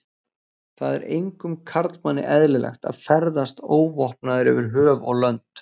Það er engum karlmanni eðlilegt að ferðast óvopnaður yfir höf og lönd.